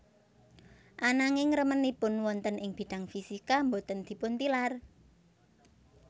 Ananging remenipun wonten ing bidang fisika boten dipuntilar